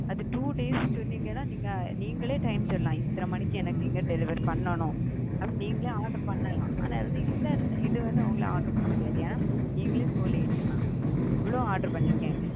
அது two days சொன்னீங்க னா நீங்க நீங்களே time சொல்லலாம். இத்தன மணிக்கு எனக்கு இங்க deliver பண்ணனும். நீங்களே order பண்ணலாம் ஆனா வந்து இந்த இதுல வந்து அவங்கள order பண்ண முடியாது ஏ நீங்களே slow late இவ்வளவு order பண்ணிருக்கே?